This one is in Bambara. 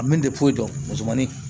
A min dɔn musomanin